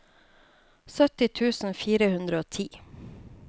sytti tusen fire hundre og ti